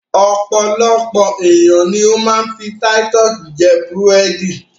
Ọpọ̀lọpọ̀ ènìyàn ni ó ma ń fi Titus jẹ búrẹ̀dì